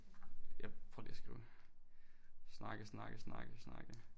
Jeg prøver lige at skrive snakke snakke snakke snakke